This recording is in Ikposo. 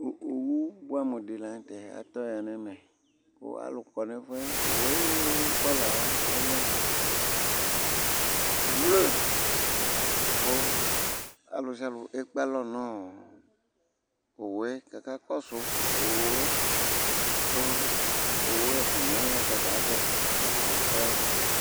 owu boɛ amo di lantɛ atɔ ya n'ɛmɛ kò alò kɔ n'ɛfu yɛ owu ayi kɔla yɛ ɔlɛ blu kò ɔlòsialò ekpe alɔ no owu yɛ k'aka kɔsu owu yɛ k'owu ɛfuani yɛ ɔta ta avɛ k'ɔtabi ɔya ba